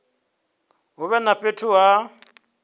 hu vhe na fhethu ha